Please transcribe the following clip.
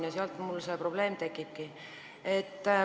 Ja sealt mul see probleem tekibki.